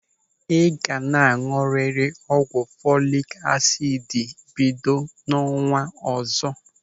Ị ga na añụrịrị ọgwụ folik asidi bido n'ọnwa ọzọ.